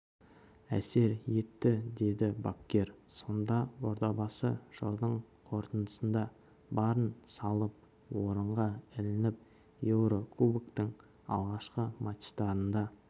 әсер етті деді бапкер сонда ордабасы жылдың қорытындысында барын салып орынға ілініп еурокубоктың алғашқы матчтарында